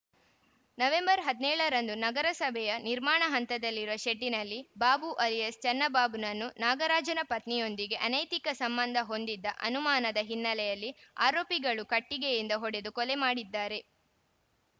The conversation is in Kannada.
ನವೆಂಬರ್ ಹದಿನೇಳರಂದು ನಗರಸಭೆಯ ನಿರ್ಮಾಣ ಹಂತದಲ್ಲಿರುವ ಶೆಡ್‌ನಲ್ಲಿ ಬಾಬುನನ್ನು ಆಲಿಯಾಸ್‌ ಚನ್ನಬಾಬುನನ್ನು ನಾಗರಾಜನ ಪತ್ನಿಯೊಂದಿಗೆ ಅನೈತಿಕ ಸಂಬಂಧ ಹೊಂದಿದ ಅನುಮಾನದ ಹಿನ್ನೆಲೆಯಲ್ಲಿ ಆರೋಪಿಗಳು ಕಟ್ಟಿಗೆಯಿಂದ ಹೊಡೆದು ಕೊಲೆ ಮಾಡಿದ್ದಾರೆ